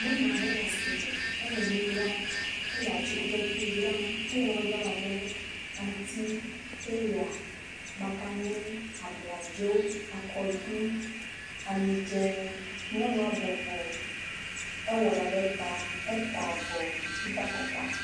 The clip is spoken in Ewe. Nyɔnu aɖe le asime, ele nu dzram. Ele atsikutsetsewo dzram. Ele nanewo dzram abe aŋuti, peya, makani, abladzo, akɔɖu, amidzẽ. Nyɔnua bɔbɔ, ewɔ ɖa ɖe ta, eta avɔ, edo afɔkpa.